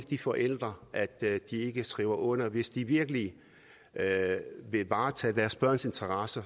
de forældre ikke skriver under hvis de virkelig vil varetage deres børns interesser